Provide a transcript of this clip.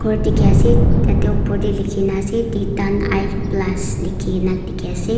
Kor dekhi ase tate upor tey lekhi na ase titan eye plus lekhina dikhi ase.